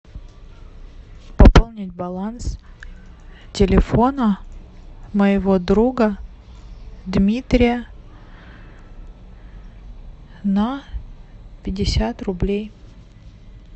пополнить баланс телефона моего друга дмитрия на пятьдесят рублей